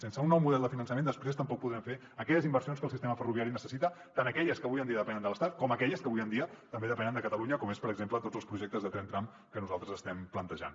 sense un nou model de finançament després tampoc podrem fer aquelles inversions que el sistema ferroviari necessita tant aquelles que avui en dia depenen de l’estat com aquelles que avui en dia també depenen de catalunya com són per exemple tots els projectes de tren tram que nosaltres estem plantejant